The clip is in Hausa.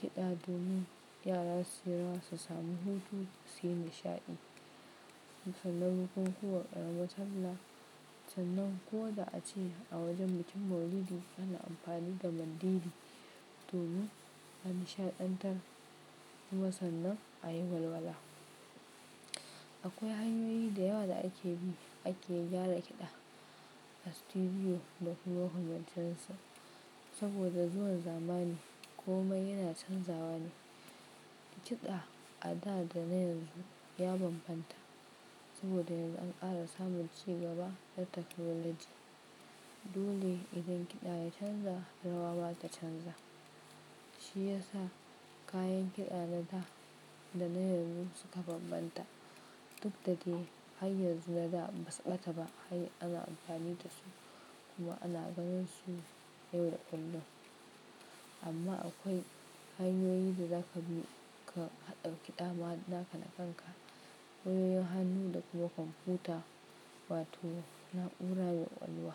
kiɗa domin yara su yi rawa, su sami hutu, su yi nishaɗi. Sannan bukukuwan ƙaramar Sallah. Sannan ko da ace a wajen bikin Maulidi ana amfani da mandiri, domin a nishaɗantar kuma sannan a yi walwala. Akwai hanyoyi da yawa da ake bi ake gyara kiɗa a studio da kuma makamantansu, saboda zuwan zamani komai yana canzawa ne. Kiɗa a da da na yanzu ya bambanta, saboda yanzu an ƙara samun ci gaba na taknolaji, dole idan kiɗa ya canza rawa ma ta canza. Shi ya sa kayan kiɗa na da da na yanzu suka bambanta. Duk da dai har yanzu na da ɗin ba su ɓata ba har ana amfani da su, kuma ana ganin su yau da kullum. Amma akwai hanyoyi da zaka bi ka, haɗa kiɗama naka na kanka. Wayoyin hannu da kuma kwamfuta, wato na'ura me ƙwaƙwalwa.